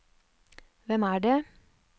hvem er det